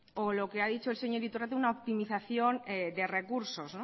o lo que ha dicho el señor iturrate una optimización de recursos